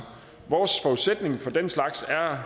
vores forudsætning for den slags er